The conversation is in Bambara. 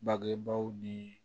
Bangebaaw ni